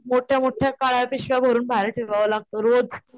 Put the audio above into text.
मोठ्या मोठ्या काळ्या पिशव्या भरून बाहेर ठेवावं लागतो रोज.